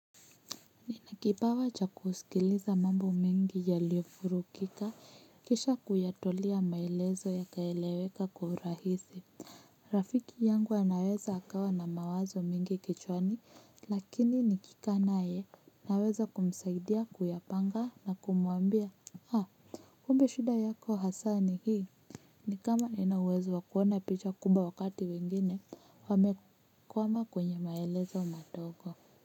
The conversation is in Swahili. Ninakipawa cha kusikiliza mambo mengi yaliofurukika kisha kuyatolea maelezo yakaeleweka kuhurahisi. Rafiki yangu anaweza akawa na mawazo mingi kichwani lakini nikikanaye naweza kumsaidia kuyapanga na kumuambia haa kumbe shida yako hasa ni hii ni kama nina uwezo wakuona picha kumbwa wakati wengine wamekwama kwenye maelezo matogo.